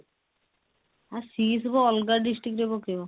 ଆ ସିଏ ସବୁ ଅଲଗା district ରେ ପକେଇବ